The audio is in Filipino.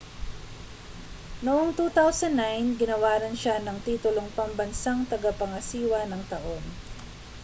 noong 2009 ginawaran siya ng titulong pambansang tagapangasiwa ng taon